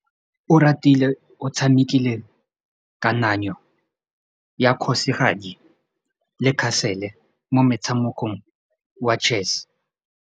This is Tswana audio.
Oratile o tshamekile kananyô ya kgosigadi le khasêlê mo motshamekong wa chess.